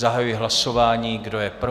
Zahajuji hlasování, kdo je pro?